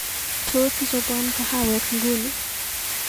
Tos, ichobwon kahawek nguni